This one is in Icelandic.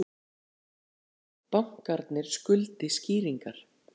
Bankarnir skuldi skýringar